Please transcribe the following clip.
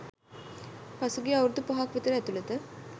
පහුගිය අවුරුදු පහක් විතර ඇතුලත